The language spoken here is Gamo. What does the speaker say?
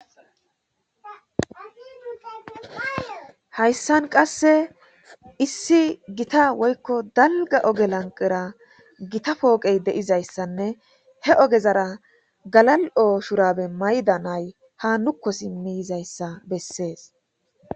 Hayssan qasse issi gita woykko dalga oge lanqera gita pooqey deizayssanne he ogezara galal7o shurabe mayda nay ha nukko simmiyizayssa bessees